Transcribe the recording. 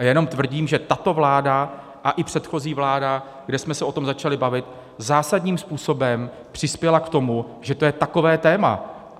Já jenom tvrdím, že tato vláda a i předchozí vláda, kde jsme se o tom začali bavit, zásadním způsobem přispěla k tomu, že to je takové téma.